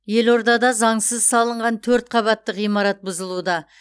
елордада заңсыз салынған төрт қабатты ғимарат бұзылуда